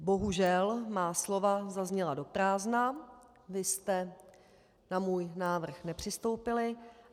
Bohužel má slova zazněla do prázdna, vy jste na můj návrh nepřistoupili.